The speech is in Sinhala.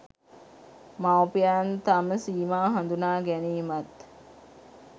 මවුපියන් තම සීමා හඳුනා ගැනීමත්